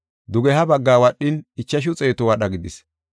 Dugeha baggaa wadhin, ichashu xeetu wadha gidis.